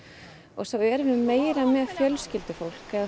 og svo erum við meira með fjölskyldufólk